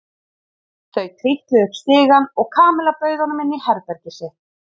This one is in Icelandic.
Þau trítluðu upp stigann og Kamilla bauð honum inn í herbergið sitt.